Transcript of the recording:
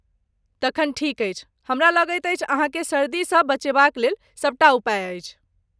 तखन ठीक अछि। हमरा लगैत अछि अहाँकेँ सर्दीसँ बचेबाक लेल सबटा उपाय अछि।